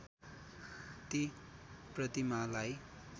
ती प्रतिमालाई